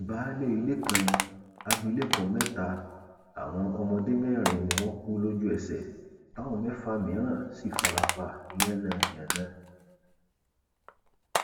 baálé ilé kan abilékọ mẹta àwọn ọmọdé mẹrin ni wọn kù lójúẹsẹ táwọn mẹfà mìíràn sì fara pa yánnayànna